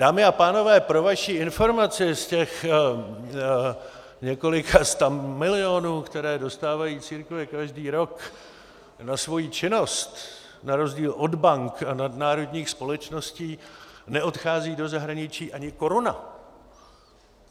Dámy a pánové, pro vaši informaci z těch několika stamilionů, které dostávají církve každý rok na svoji činnost, na rozdíl od bank a nadnárodních společností neodchází do zahraničí ani koruna.